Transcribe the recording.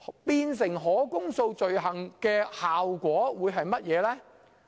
變成可公訴罪行的效果是甚麼呢？